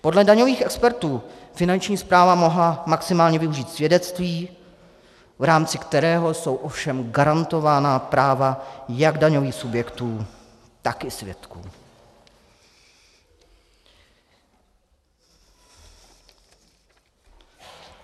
Podle daňových expertů Finanční správa mohla maximálně využít svědectví, v rámci kterého jsou ovšem garantována práva jak daňových subjektů, tak i svědků.